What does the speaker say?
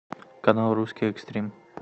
канал русский экстрим